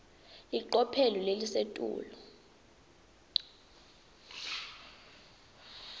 licophelo lelisetulu